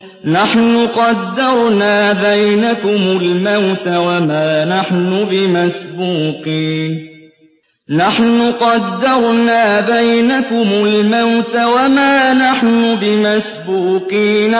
نَحْنُ قَدَّرْنَا بَيْنَكُمُ الْمَوْتَ وَمَا نَحْنُ بِمَسْبُوقِينَ